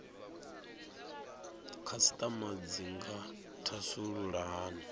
khasitama dzi nga thasulula hani